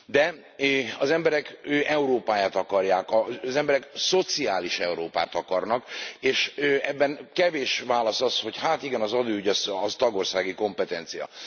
De az emberek Európáját akarják, az emberek szociális Európát akarnak, és ebben kevés válasz az, hogy hát igen, az adóügy, az tagországi kompetencia.